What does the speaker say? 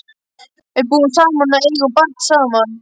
Við búum saman og eigum barn saman.